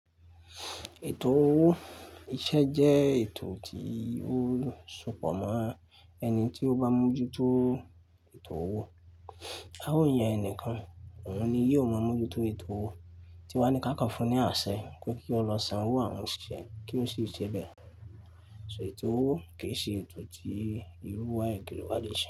Ètò owó ìṣẹ́ jẹ́ ètò tí ó sopọ̀ mọ́ ẹni tí ó bá mójú tó ètò owó. A ó yàn ẹnìkan, òun ni yóò mọ mójútó ètò owó, tí wọ́n ní ká kàn fún ní àṣẹ pé kí ó lọ sanwó àwọn òṣìṣẹ́ kí wọ́n sì ṣe bẹ̀. So ètò owó kì í ṣe ètò tí irúwa ekéré wá le ṣe.